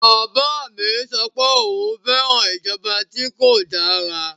Bàbá mi sọ pé òun fẹ́ràn ìjọba tí kò dára.